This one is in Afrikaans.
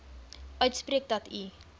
uitspreek dat u